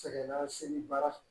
Sɛgɛn lase baara